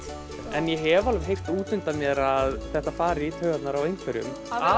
en ég hef alveg heyrt út undan mér að þetta fari í taugarnar á einhverjum